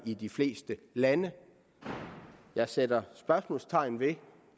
i de fleste lande jeg sætter spørgsmålstegn ved